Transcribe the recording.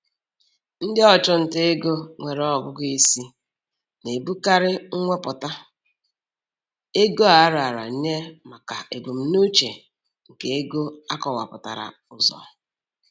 Ndị ọchụnta ego nwere ọgụgụ isi na-ebutekarị mwepụta ego a raara nye maka ebumnuche nke ego akọwapụtara ụzọ.